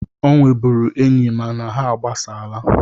Ọ nwebụrụ enyi mana ha agbasaala